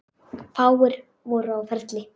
Fáir voru á ferli.